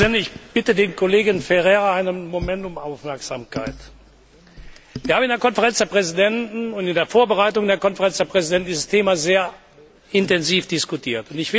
Ich bitte den Kollegen Ferreira einen Moment um Aufmerksamkeit. Wir haben in der Konferenz der Präsidenten und bei der Vorbereitung der Konferenz der Präsidenten dieses Thema sehr intensiv diskutiert.